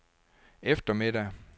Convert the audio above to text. eftermiddag